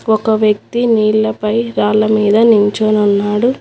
ఒక వ్యక్తి నీళ్లపై రాళ్ళ మీద నించొని ఉన్నాడు.